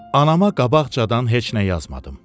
Anama qabaqcadan heç nə yazmadım.